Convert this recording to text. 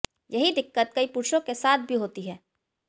यही दिक्कत कई पुरुषों के साथ भी होती है